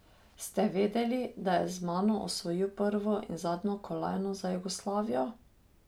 Ste vedeli, da je z mano osvojil prvo in zadnjo kolajno za Jugoslavijo?